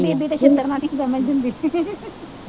ਬੀਬੀ ਤੋਂ ਛਿੱਤਰ ਖਾਂਦੀ ਸਮਝਦੀ ਹੁੰਦੀ ਸੀ।